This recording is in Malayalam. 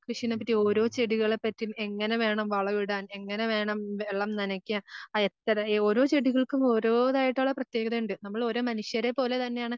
കൃഷിനെ പറ്റീം ഓരോ ചെടികളെ പറ്റീം എങ്ങനെ വേണം വളം ഇടാൻ എങ്ങനെ വേണം വെള്ളം നനക്കാൻ ആഹ് എത്ര, ഓരോ ചെടികൾക്കും ഓരോതായിട്ടുള്ള പ്രത്യേകതയുണ്ട് നമ്മൾ മനുഷ്യരെ പോലെ തന്നെതായിട്ടുള്ള പ്രത്യേകതയുണ്ട് നമ്മൾ ഓരോ മനുഷ്യരെ പോലെ തന്നെയാണ്.